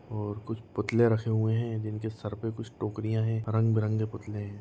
और कुछ पुतले रखे हुए है जिनके सर पे कुछ टोकरिया है रंगबिरंगे पुतले हैं।